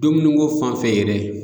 Dumuniko fan fɛ yɛrɛ